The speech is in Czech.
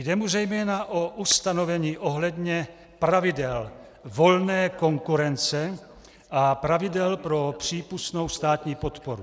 Jde mu zejména o ustanovení ohledně pravidel volné konkurence a pravidel pro přípustnou státní podporu.